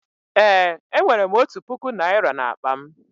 Eé, enwere m otu puku naịra n'akpa m.